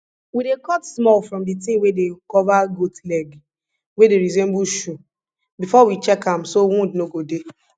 we dey cut small from di thing wey dey cover goat leg wey dey resemble shoe before we check am so wound no go dey